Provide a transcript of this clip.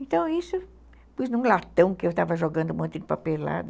Então, isso... Pus num latão que eu estava jogando um monte de papelada.